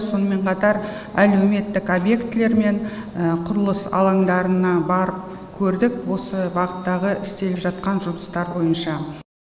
сонымен қатар әлеуметтік объектілер мен құрылыс алаңдарына барып көрдік осы бағыттағы істеліп жатқан жұмыстар бойынша